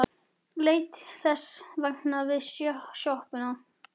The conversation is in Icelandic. Leit þess vegna við í sjoppunni.